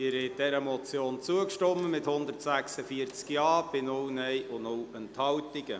Sie haben dieser Motion zugestimmt, mit 146 Ja- bei 0 Nein-Stimmen und 0 Enthaltungen.